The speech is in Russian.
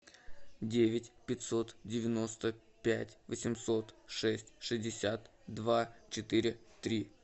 девять пятьсот девяносто пять восемьсот шесть шестьдесят два четыре три